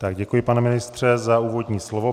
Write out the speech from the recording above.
Tak děkuji, pane ministře, za úvodní slovo.